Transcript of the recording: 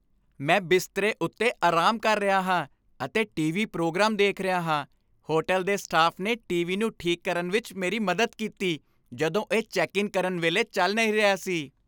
ਮੈਂ ਬਿਸਤਰੇ ਉੱਤੇ ਆਰਾਮ ਕਰ ਰਿਹਾ ਹਾਂ ਅਤੇ ਟੀ.ਵੀ. ਪ੍ਰੋਗਰਾਮ ਦੇਖ ਰਿਹਾ ਹਾਂ ਹੋਟਲ ਦੇ ਸਟਾਫ ਨੇ ਟੀ.ਵੀ. ਨੂੰ ਠੀਕ ਕਰਨ ਵਿੱਚ ਮੇਰੀ ਮਦਦ ਕੀਤੀ ਜਦੋਂ ਇਹ ਚੈੱਕ ਇਨ ਕਰਨ ਵੇਲੇ ਚੱਲ ਨਹੀਂ ਰਿਹਾ ਸੀ